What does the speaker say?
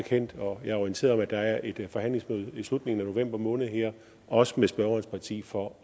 og jeg er orienteret om at der er et forhandlingsmøde i slutningen af november måned også med spørgerens parti for